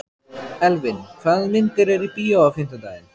Elvin, hvaða myndir eru í bíó á fimmtudaginn?